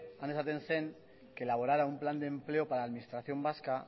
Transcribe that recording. han esaten zen que elaborara un plan de empleo para la administración vasca